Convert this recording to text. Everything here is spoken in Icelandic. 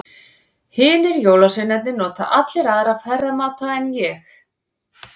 Hinir jólasveinarnir nota allir aðra ferðamáta en ég.